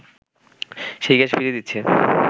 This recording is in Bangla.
সেই গ্যাস ফিরিয়ে দিচ্ছে